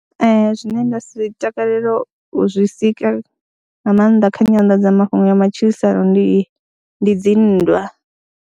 Ee, zwine nda si takalele u zwi sika nga maanḓa kha nyanḓadzamafhungo ya matshilisano ndi ndi dzi nndwa.